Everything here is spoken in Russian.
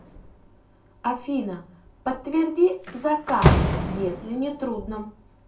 афина подтверди заказ если не трудно